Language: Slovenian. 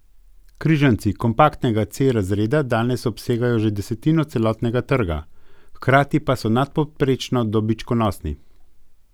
Križanci kompaktnega C razreda danes obsegajo že desetino celotnega trga, hkrati pa so nadpovprečno dobičkonosni.